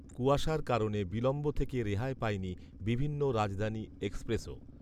কূয়াশার কারণে বিলম্ব থেকে রেহাই পায়নি বিভিন্ন রাজধানী এক্সপ্রেসও